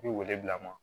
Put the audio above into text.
I bɛ wele bila a ma